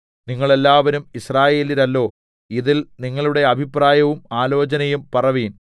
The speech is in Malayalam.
നിങ്ങൾ എല്ലാവരും യിസ്രായേല്യരല്ലോ ഇതിൽ നിങ്ങളുടെ അഭിപ്രായവും ആലോചനയും പറവിൻ